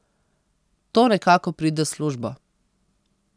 To nekako pride s službo.